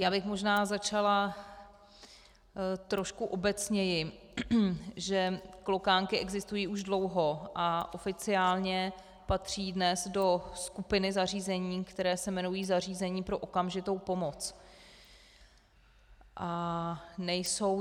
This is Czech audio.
Já bych možná začala trošku obecněji, že klokánky existují již dlouho a oficiálně patří dnes do skupiny zařízení, která se jmenují zařízení pro okamžitou pomoc.